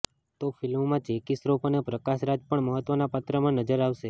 તો ફિલ્માં જેકી શ્રોફ અને પ્રકાશ રાજ પણ મહત્વનાં પાત્રમાં નજર આવશે